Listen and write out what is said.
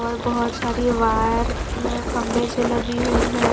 और बहुत सारी वायर खंबे से लगी हुई हैं।